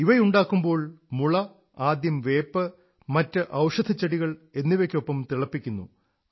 ഇവയുണ്ടാക്കുമ്പോൾ മുള ആദ്യം വേപ്പ് മറ്റ് ഔഷധച്ചെടികൾ എന്നിവയ്ക്കൊപ്പം തിളപ്പിക്കുന്നു